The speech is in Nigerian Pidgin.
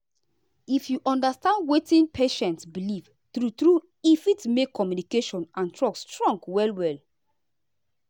if you understand wetin patient believe true true e fit make communication and trust strong well well.